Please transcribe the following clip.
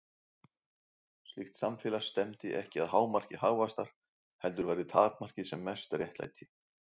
Slíkt samfélag stefndi ekki að hámarki hagvaxtar, heldur væri takmarkið sem mest réttlæti.